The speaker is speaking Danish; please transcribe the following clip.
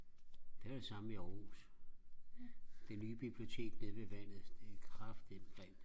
det var det samme i Aarhus det nye bibliotek nede ved vandet det er kraftædme grimt